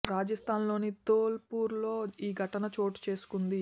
రాజస్థాన్ లోని ధోల్ పూర్ లో ఈ ఘటన చోటు చేసుకుంది